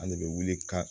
An de bɛ wuli ka